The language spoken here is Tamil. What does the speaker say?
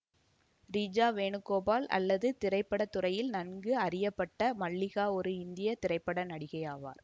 ரீஜா வேணுகோபால் அல்லது திரைப்பட துறையில் நன்கு அறியப்பட்ட மல்லிகா ஒரு இந்திய திரைப்பட நடிகை ஆவார்